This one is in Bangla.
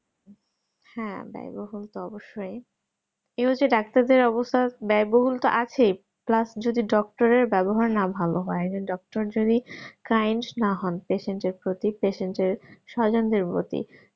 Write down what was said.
হ্যাঁ ব্যায় বহুল তো অবশ্যই এই হচ্ছে ডাক্তার দের অবস্থা ব্যায় বহুল তো আছে plus যদি doctor এর ব্যবহার না ভালো হয় doctor যদি kind না হন patient এর প্রতি patient এর স্বজন দের প্রতি